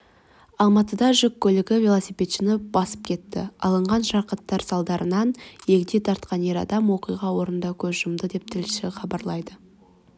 алматыда жүк көлігі велосипедшіні басып кетті алынған жарақаттар салдарынан егде тартқан ер адам оқиға орнында көз жұмды деп тілшісі хабарлайды